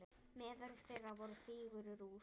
Meðal þeirra voru fígúrur úr